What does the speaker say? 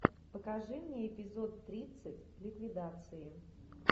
покажи мне эпизод тридцать ликвидации